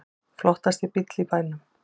Flottasti bíll í bænum